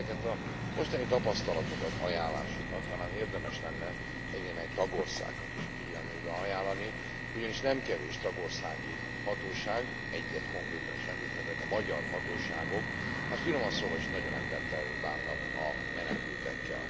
De ezeket a mostani tapasztalatokat, ajánlásokat talán érdemes lenne egynémely tagországnak is a figyelmébe ajánlani, ugyanis nem kevés tagországi hatóság egyet konkrétan is említhetek a magyar hatóságok hát finoman szólva is nagyon embertelenül bánnak a menekültekkel.